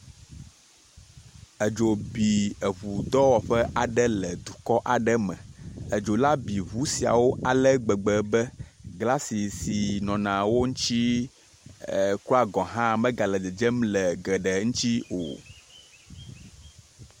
Edzo bi eŋu dɔwɔƒe le dukɔ aɖe me, edzo la bi eŋu siawo ale gbegbe be glasi si nɔna wo ŋuti kura gɔ hã, megale dzedzem le geɖe ŋuti o.